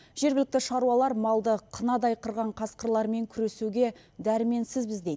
жергілікті шаруалар малды қынадай қырған қасқырлармен күресуге дәрменсізбіз дейді